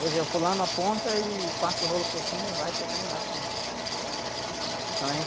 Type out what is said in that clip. Hoje é o fulano aponta e passa o rolo por cima e vai ser candidato mesmo.